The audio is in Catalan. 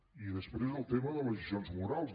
i després el tema de les lliçons morals